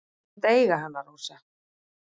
Þú mátt eiga hana, Rósa.